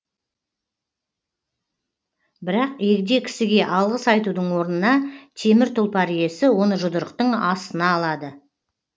бірақ егде кісіге алғыс айтудың орнына темір тұлпар иесі оны жұдырықтың астына алады